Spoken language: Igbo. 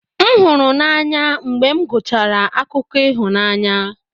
M hụrụ n'anya mgbe m gụchara akụkọ ịhụnanya